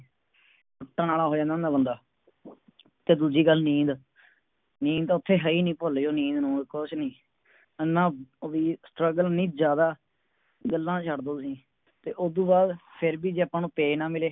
ਟੁਟੱਣ ਆਲਾ ਹੋ ਜਾਂਦਾ ਹੁੰਦਾ ਬੰਦਾ ਤੇ ਦੂਜੀ ਗੱਲ ਨੀਂਦ ਨੀਂਦ ਤਾ ਓਥੇ ਹੈ ਹੀ ਨਹੀਂ ਭੁੱਲ ਜੋ ਨੀਂਦ ਨੂੰਦ ਕੁਝ ਨੀ ਇੰਨਾ ਓਵੀ Struggle ਇੰਨੀ ਜ਼ਿਆਦਾ ਗੱਲਾਂ ਛੱਡ ਦੋ ਤੁਸੀਂ ਤੇ ਉਦੂ ਬਾਦ ਫੇਰ ਵੀ ਜੇ ਅੱਪਾ ਨੂੰ Pay ਨਾ ਮਿਲੇ